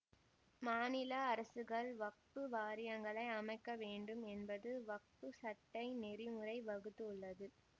மாநில அரசுகள் வக்பு வாரியங்களை அமைக்க வேண்டும் என்பது வக்ப் சட்ட நெறிமுறை வகுத்து உள்ளது